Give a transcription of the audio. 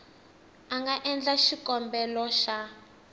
a nga endla xikombelo xa